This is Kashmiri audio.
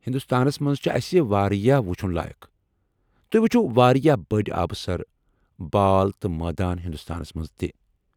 ہندوستانس منٛز چھٗ اسہِ واریاہ وُچُھن لایق ، توہہِ وُچھِو واریاہ بٔڑۍ آبہٕ سر ، بال تہٕ مٲدان ہندوستانس منٛز تہِ۔